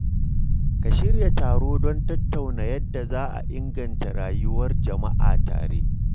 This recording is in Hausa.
Ka shirya taro don tattauna yadda za a inganta rayuwar jama’a tare.